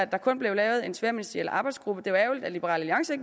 der kun blev lavet en tværministeriel arbejdsgruppe det var ærgerligt at liberal alliance